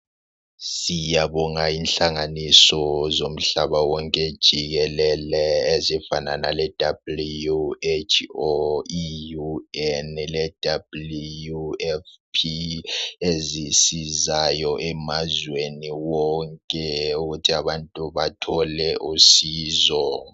Siyabonga inhlanganiso zomhlaba wonke jikelele ezifana le WHO ,UN, le WFP ezisizayo emazweni wonke ukuthi abantu bathole usizo.